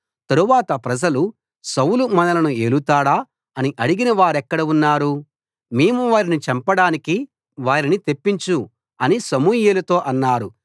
తరువాత ప్రజలు సౌలు మనలను ఏలుతాడా అని అడిగిన వారెక్కడ ఉన్నారు మేము వారిని చంపడానికి వారిని తెప్పించు అని సమూయేలుతో అన్నారు